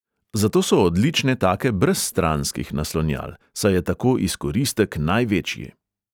Zato so odlične take brez stranskih naslonjal, saj je tako izkoristek največji.